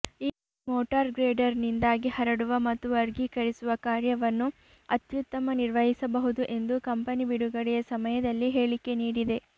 ಈ ಮೋಟಾರ್ ಗ್ರೇಡರ್ನಿಂದಾಗಿ ಹರಡುವ ಮತ್ತು ವರ್ಗೀಕರಿಸುವ ಕಾರ್ಯವನ್ನು ಅತ್ಯುತ್ತಮ ನಿರ್ವಹಿಸಬಹುದು ಎಂದು ಕಂಪನಿ ಬಿಡುಗಡೆಯ ಸಮಯದಲ್ಲಿ ಹೇಳಿಕೆ ನೀಡಿದೆ